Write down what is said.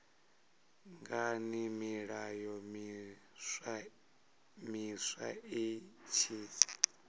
ngani milayo miswa i tshi